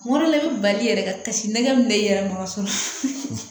Wɔrɔ ne be bali yɛrɛ ka kasi nɛgɛ min be ne yɛrɛ ma fɔlɔ